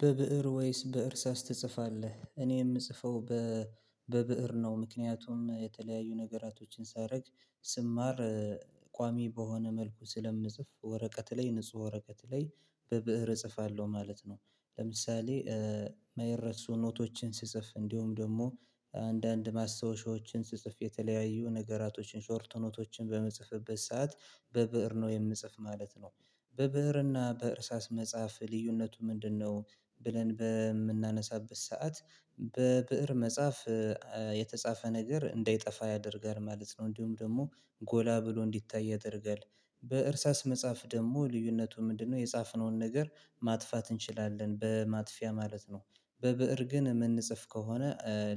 በብእር ወይስ በእርሳስ ትጽፋለህ እኔ የምጽፈው በብእር ነው ምክንያቱም የተለያዩ ነገራቶችን ሳረግ ስማር ቋሚ በሆነ መልኩ ስለምጽፍ ወረቀት ላይ ንጹህ ወረቀት ላይ በብእር እጽፋለሁ ማለት ነው። ለምሳሌ መየር ረክሶ ኖቶችን ስጽፍ እንዲሁም ደሞ አንዳንድ ማስታወሻዎችን ስጽፍ የተለያዩ ነገራቶችን ሾርት ኖቶችን በመጽፍበት ሰዓት በብእር ነው የምጽፍ ማለት ነው። በብእር እና በእርሳስ መጽሐፍ ልዩነቱ ምንድነው? ብለን በምናነሳበት ሰዓት በብእር መጻፍ የተጻፈ ነገር እንዳይጠፋ ያደርጋል ማለት ነው። እንዲሁም ደሞ ጎላ ብሎ እንዲታይ ያደርጋል። በእርሳስ መጽሐፍ ደሞ ልዩነቱ ምንድነው የጻፍነውን ነገር ማጥፋት እንችላለን በማጥፊያ ማለት ነው። በብእር ግን የምንጽፍ ከሆነ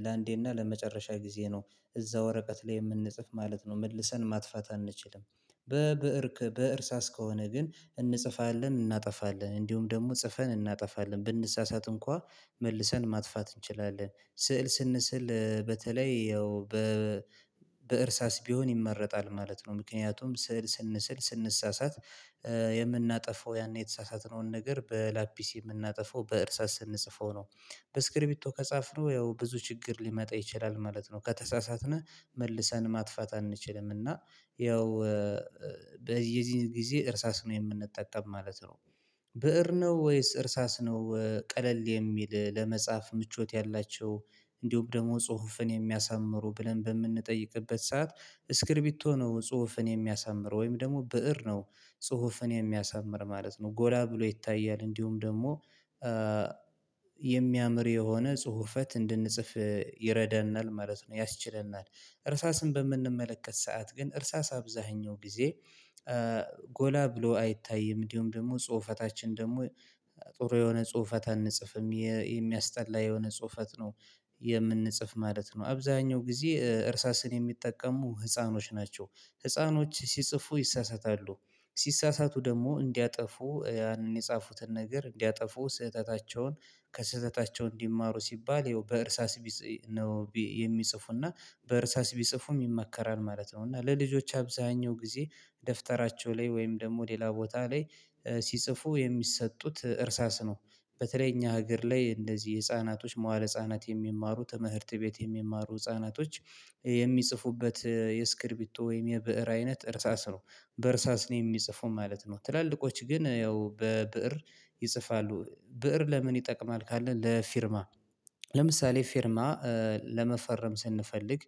ለአንዴና ለመጨረሻ ጊዜ ነው። እዛ ወረቀት ላይ የምንጽፍ ማለት ነው መልሰን ማጥፋት አንችልም። በብእር በእርሳስ ከሆነ ግን እንጽፋለን እናጠፋለን እንዲሁም ደግሞ ጽፈን እናጠፋለን ብንሳሳት እንኳን መልሰን ማጥፋት እንችላለን። ስዕል ስንስል በተለይ ያው በእርሳስ ቢሆን ይመረጣል ማለት ነው ምክንያቱም ስዕል ስንስል ስንሳሳት የምናጠፋው ያኔ የተሳሳተነውን ነገር በላፒሲ የምናጠፋው በእርሳስ ስንጽፈው ነው። በስክሪቢቶ ከጻፍነው ያው ብዙ ችግር ሊመጣ ይችላል ማለት ነው ከተሳሳትን መልሰን ማጥፋት አንችልም። እና ያው በዚህ የዚህ ጊዜ እርሳስ ነው የምንጠቀም ማለት ነው። ብእር ነው ወይስ እርሳስ ነው ቀለል የሚል ለመጻፍ ምቾት ያላቸው? እንዲሁም ደሞ ጽሁፍን የሚያሳምሩ ብለን በምንጠይቅበት ሰዓት ስክሪቢቶ ነው ጽሁፍን የሚያሳምር ወይም ደሞ ብእር ነው። ጽሁፍን የሚያሳምር ማለት ነው ጎላ ብሎ ይታያል እንዲሁም ደሞ የሚያምር የሆነ ጽሁፈት እንድንጽፍ ይረደናል ማለት ነው ያስችለናል። እርሳስን በምንመለከት ሰዓት ግን እርሳስ አብዛኛው ጊዜ ጎላ ብሎ አይታይም እንዲሁም ደግሞ ጽሁፈታችን ደሞ ጥሩ የሆነ ጽሁፈት አንጽፍም የሚያስጠላ የሆነ ጽሁፈት ነው። የምንጽፍ ማለት ነው አብዛኛው ጊዜ እርሳስን የሚጠቀሙ ህፃኖች ናቸው። ህፃኖች ሲጽፉ ይሳሳታሉ። ሲሳሳቱ ደሞ እንዲያጠፉ ያንን የጻፉትን ነገር እንዲያጠፉ ስህተታቸውን ከስህተታቸው እንዲማሩ ሲባል ይኸው በእርሳስ ቢጽ ነው የሚጽፉና። በእርሳስ ቢጽፉም ይመከራል ማለት ነው። እና ለልጆች አብዛኛው ጊዜ ደፍጠራቸው ላይ ወይም ደግሞ ሌላ ቦታ ላይ ሲጽፉ የሚሰጡት እርሳስ ነው። በተለይ እኛ ሀገር ላይ እንደዚህ ህፃናቶች መዋለ ህፃናት የሚማሩ ትምህርት ቤት የሚማሩ ህፃናቶች የሚጽፉበት የእስክርቢቶ ወይም የብእር አይነት እርሳስ ነው። በእርሳስ ነው የሚጽፉ ማለት ነው ትላልቆች ግን ያው በብእር ይጽፋሉ። ብእር ለምን ይጠቅማል? ካልን ለፊርማ ለምሳሌ ፊርማ ለመፈረም ስንፈልግ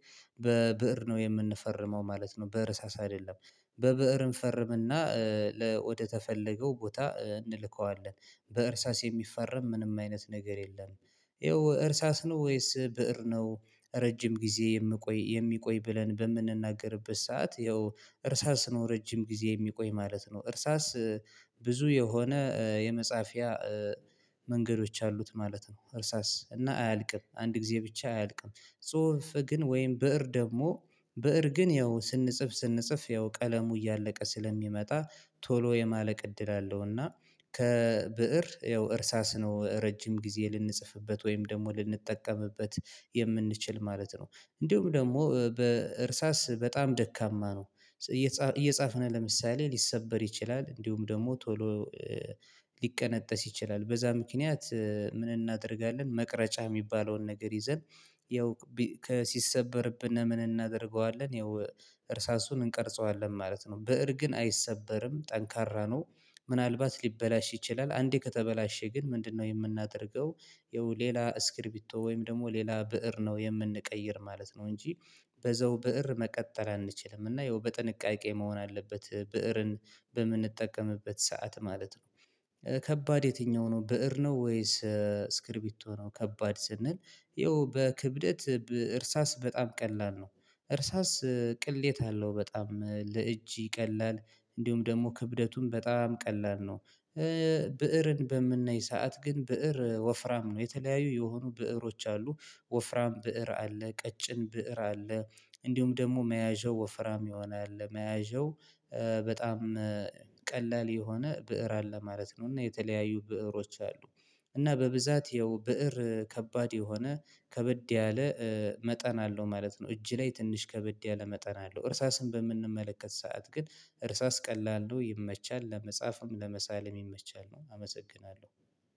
በብእር ነው የምንፈርመው ማለት ነው በእርሳስ አይደለም። በብእር እንፈርም እና ለወደተፈለገው ቦታ እንልከዋለን። በእርሳስ የሚፈረም ምንም አይነት ነገር የለም። ያው እርሳስ ነው ወይስ ብእር ነው? ረጅም ጊዜ የምቆይ የሚቆይ ብለን በምንናገርበት ሰዓት ያው እርሳስ ነው ረጅም ጊዜ የሚቆይ ማለት ነው። እርሳስ ብዙ የሆነ የመጻፊያ መንገዶች አሉት ማለት ነው። እርሳስ እና አያልቅም አንድ ጊዜ ብቻ አያልቅም። ጽሁፍ ግን ወይም ብእር ደግሞ ብእር ግን ያው ስንጽፍ ስንጽፍ ያው ቀለሙ እያለቀ ስለሚመጣ ቶሎ የማለቅ እድል አለው። እና ከብእር ያው እርሳስ ነው ረጅም ጊዜ ልንጽፍበት ወይም ደግሞ ልንጠቀምበት የምንችል ማለት ነው። እንዲሁም ደግሞ በእርሳስ በጣም ደካማ ነው። እየጻፍን ለምሳሌ ሊሰበር ይችላል እንዲሁም ደግሞ ቶሎ ሊቀነጠስ ይችላል። በዛ ምክንያት ምን እናደርጋለን? መቅረጫ የሚባለውን ነገር ይዘን ያው ሲሰበርብን ምን እናደርገዋለን ያው እርሳሱን እንቀርጸዋለን ማለት ነው። ብእር ግን አይሰበርም ጠንካራ ነው። ምናልባት ሊበላሽ ይችላል አንዴ ከተበላሸ ግን ምንድን ነው የምናደርገው? ያው ሌላ እስክሪቢቶ ወይም ደግሞ ሌላ ብእር ነው የምንቀይር ማለት ነው። እንጂ በዛው ብእር መቀጠል አንችልም እና ያው በጥንቃቄ መሆን አለበት ብእርን በምንጠቀምበት ሰዓት ማለት ነው። ከባድ የትኛው ነው ብእር ነው ወይስ እስክሪቢቶ ነው ከባድ ስንል? ያው በክብደት እርሳስ በጣም ቀላል ነው። እርሳስ ቅለት አለው በጣም ለእጅ ይቀላል። እንዲሁም ደግሞ ክብደቱም በጣም ቀላል ነው። ብእርን በምናይ ሰዓት ግን ብእር ወፍራም ነው የተለያዩ የሆኑ ብእሮች አሉ። ወፍራም ብእር አለ ቀጭን ብእር አለ። እንዲሁም ደግሞ መያዣው ወፍራም የሆነ አለ መያዣው በጣም ቀላል የሆነ ብእር አለ ማለት ነው። እና የተለያዩ ብእሮች አሉ። እና በብዛት ያው ብእር ከባድ የሆነ ከበድ ያለ መጠን አለው ማለት ነው። እጅ ላይ ትንሽ ከበድ ያለ መጠን አለው። እርሳስን በምንመለከት ሰዓት ግን እርሳስ ቀላል ነው ይመቻል ለመጻፍም ለመሳልም ይመቻል ነው። አመሰግናለሁ።